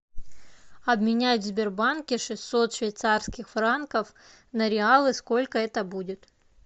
обменять в сбербанке шестьсот швейцарских франков на реалы сколько это будет